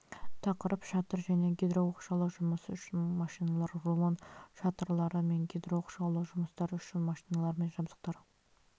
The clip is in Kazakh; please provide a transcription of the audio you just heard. тақырып шатыр және гидрооқшаулау жұмысы үшін машиналар рулон шатырлары мен гидрооқшаулау жұмыстары үшін машиналар және жабдықтар